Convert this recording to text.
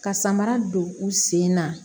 Ka samara don u sen na